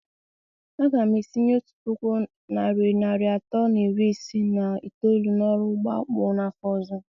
A ga m etinye otu puku naịra narị atọ na iri isii na itoolu n'ọrụ ugbo akpụ n'afọ ọzọ.